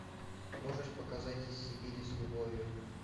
можешь показать из сибири с любовью